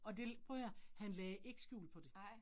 Og det prøv at høre, han lagde ikke skjul på det